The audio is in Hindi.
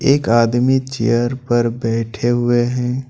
एक आदमी चेयर पर बैठे हुए हैं।